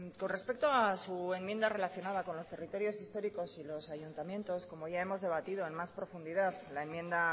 con respecto a su enmienda relacionada con los territorios históricos y los ayuntamientos como ya hemos debatido en más profundidad la enmienda